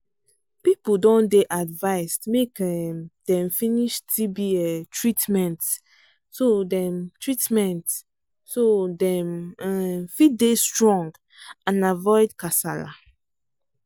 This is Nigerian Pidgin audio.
people don dey advised make um dem finish tb um treatment so dem treatment so dem um fit dey strong and avoid kasala